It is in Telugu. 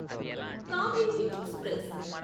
కావేరి ఎక్స్ప్రెస్